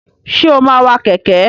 Ṣé o máa wa kẹ̀kẹ́?